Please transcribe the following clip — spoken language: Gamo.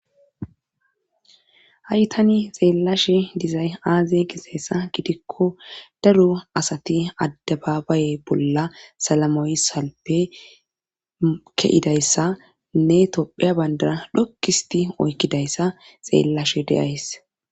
haytani xeellash dizay aaze giseyssa gidikko daro asati addababaye bolla salamoyisalpe ke7idayssa nne topheya bandara dhokkisti oykkidayssa xeellashe deyays